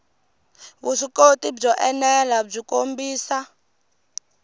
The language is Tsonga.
vuswikoti byo enela byi kombisa